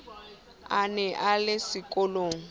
a ne a le sekolong